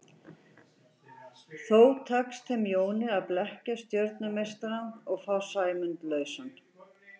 Þó tekst þeim Jóni að blekkja stjörnumeistarann og fá Sæmund lausan.